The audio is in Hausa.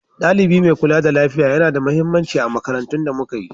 Ɗalibi mai kula da lafiya yana da mahimmanci a makarantun da muka yi.